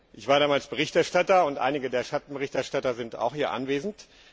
Ich war damals Berichterstatter, und einige der Schattenberichterstatter sind auch hier anwesend.